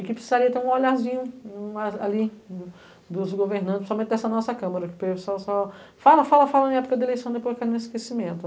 e que precisaria ter um olharzinho ali dos governantes, principalmente dessa nossa Câmara, pessoal só fala, fala, fala em época da eleição e depois cai no esquecimento.